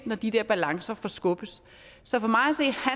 når de der balancer forskubbes så for